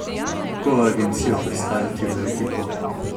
Kako agencijo prestaviti v ekipo?